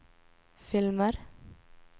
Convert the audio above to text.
filmer